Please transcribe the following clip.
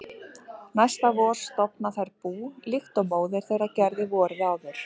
Næsta vor stofna þær bú líkt og móðir þeirra gerði vorið áður.